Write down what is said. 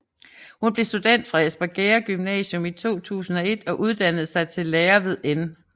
Hun blev student fra Espergærde Gymnasium i 2001 og uddannede sig til lærer ved N